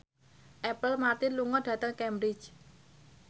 Apple Martin lunga dhateng Cambridge